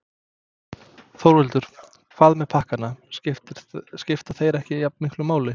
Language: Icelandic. Þórhildur: Hvað með pakkana, skipta þeir ekki jafnmiklu máli?